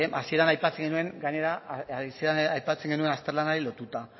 hasieran aipatzen genuen azterlanari lotuta